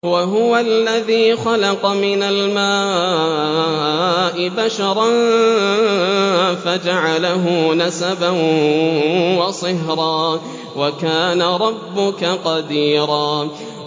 وَهُوَ الَّذِي خَلَقَ مِنَ الْمَاءِ بَشَرًا فَجَعَلَهُ نَسَبًا وَصِهْرًا ۗ وَكَانَ رَبُّكَ قَدِيرًا